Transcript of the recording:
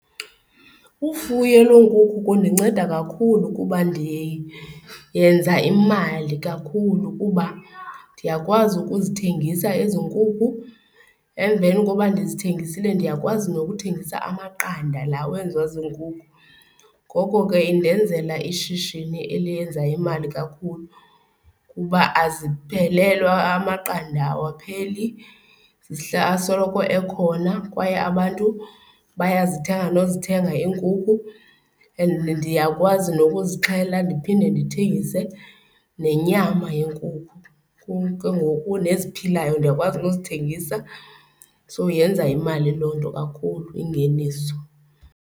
Ufuyo lweenkukhu kundinceda kakhulu kuba ndiyenza imali kakhulu kuba ndiyakwazi ukuzithengisa ezi nkukhu. Emveni koba ndizithengisile ndiyakwazi nokuthengisa amaqanda laa wenziwa ziinkukhu. Ngoko ke indenzela ishishini elenza imali kakhulu kuba aziphelelwa, amaqanda awapheli, asoloko ekhona kwaye abantu bayazithenga nozithenga iinkukhu and ndiyakwazi nokuzixhela ndiphinde ndithengise nenyama yenkukhu. Ke ngoku neziphilayo ndiyakwazi nozithengisa, so yenza imali loo nto kakhulu, ingeniso.